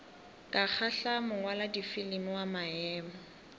ka kgahla mongwaladifilimi wa maemo